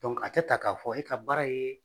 Donc a tɛ ta k'a fɔ e ka baara ye.